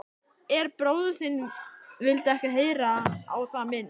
En bróðir þinn vildi ekki heyra á það minnst.